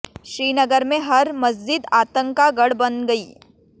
श्रीनगर में हर मसजिद आतंक का गढ़ बन गई